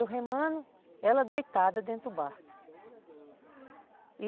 Eu remando, ela deitada dentro do barco.